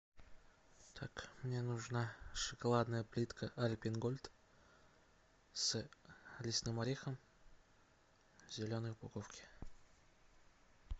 так мне нужна шоколадная плитка альпен гольд с лесным орехом в зеленой упаковке